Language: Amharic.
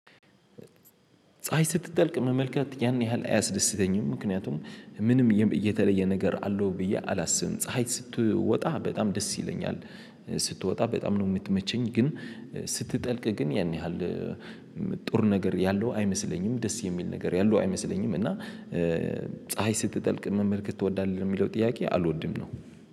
ፀሀይ ስትጠልቅ መመልከት ያን ያህል አያስደስተኝም ምክንያቱም ምንም እየተለየ ነገር አለው ብዬ አላስብም። ፀሀይ ስትወጣ በጣም ደስ ይለኛል። ስትወጣ በጣም ነው የምትመቸኝ። ግን ስትጠልቅ ግን ያን ያህል። ጥሩ ነገር ያለው አይመስለኝም ደስ የሚል ነገር ያለው አይመስለኝም። እና ፀሀይ ስትጠልቅ መመልከት ትወዳለህ የሚለው ጥያቄ አልወድም ነው።